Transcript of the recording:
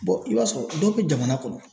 i b'a sɔrɔ dɔw bɛ jamana kɔnɔ